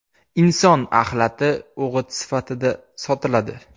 Inson axlati o‘g‘it sifatida sotiladi.